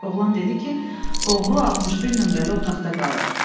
Oğrun dedi ki, oğru 61 nömrəli otaqda qalır.